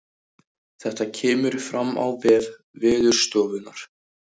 Þetta kemur fram á vef veðurstofunnar